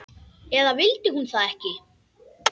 Eða vildi hún það ekki?